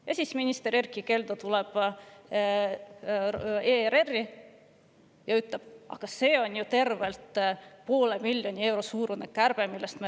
Ja siis läheb minister Erkki Keldo ERR-i ja ütleb: "Aga see, millest me räägime, on ju tervelt poole miljoni euro suurune kärbe.